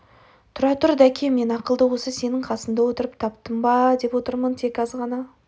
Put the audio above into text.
тұра тұр дәке мен ақылды осы сенің қасында отырып таптым ба деп отырмын тек аз ғана